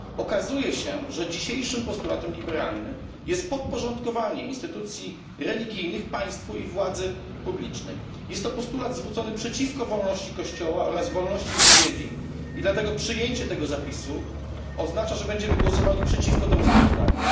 Okazuje się, że dzisiejszym postulatem liberalnym jest podporządkowanie instytucji religijnych państwu i władzy publicznej. Jest to postulat zwrócony przeciwko wolności kościoła oraz wolności wypowiedzi i dlatego przyjęcie tego zapisu oznacza, że będziemy głosowali przeciwko temu sprawozdaniu.